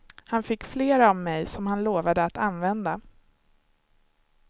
Han fick flera av mig som han lovade att använda.